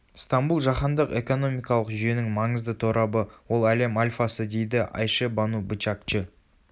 стамбул жаһандық экономикалық жүйенің маңызды торабы ол әлем альфасы дейді айше бану бычакчы